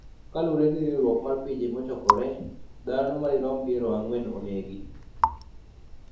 Kaluwore gi riwruok mar Pinje Mochokore, dhano madirom piero ang'wen onegi